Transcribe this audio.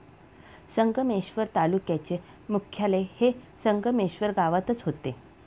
संगमेश्वर तालुक्याचे मुख्यालय हे संगमेश्वर गावातच होते.